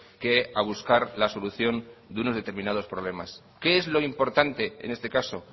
que a buscar la solución de unos determinados problemas qué es lo importante en este caso